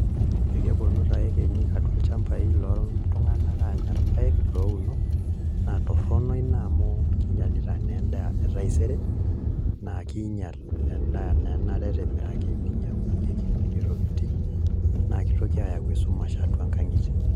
Ekeponu taa yekenyik atua olchambai loltung'anak anya irpaek louno, naa torrono ina amu kinyalita naa endaa etaisere, na kinyal endaa naa enaata etimiraki ninyang'unyeki nkulie tokiting, na kitoki ayau esumash atua nkang'itie.